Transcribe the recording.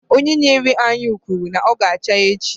Onye na-ere anyụ kwuru na ọ ga-acha n'echi.